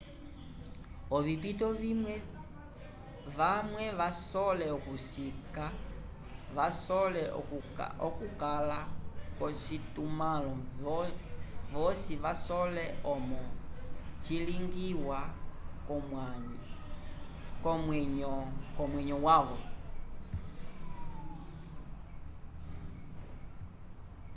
ovipito vimwe vamwe vasole okusika vasole okukala ko citumalo vosi vasole momo cilingiwa ko mwenyovvyavo